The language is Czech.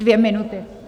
Dvě minuty.